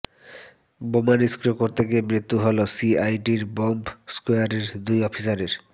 বোমা নিষ্ক্রিয় করতে গিয়ে মৃত্যু হল সিআইডির বম্ব স্কোয়াডের দুই অফিসারের